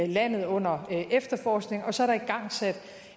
landet under efterforskningen og så er der igangsat